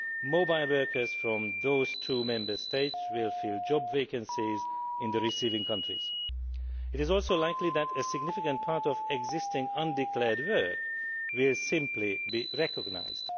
Mobile workers from these two Member States will fill job vacancies in the receiving countries. It is also likely that a significant proportion of existing undeclared work will simply be recognised.